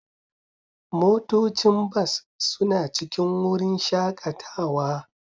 motocin bas suna cikin wurin shakatawa